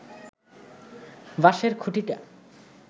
বাঁশের খুঁটিটা